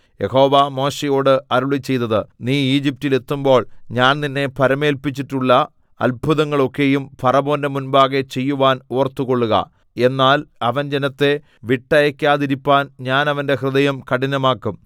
യഹോവ മോശെയോട് അരുളിച്ചെയ്തത് നീ ഈജിപ്റ്റിൽ എത്തുമ്പോൾ ഞാൻ നിന്നെ ഭരമേല്‍പിച്ചിട്ടുള്ള അത്ഭുതങ്ങളൊക്കെയും ഫറവോന്റെ മുമ്പാകെ ചെയ്യുവാൻ ഓർത്തുകൊള്ളുക എന്നാൽ അവൻ ജനത്തെ വിട്ടയയ്ക്കാതിരിപ്പാൻ ഞാൻ അവന്റെ ഹൃദയം കഠിനമാക്കും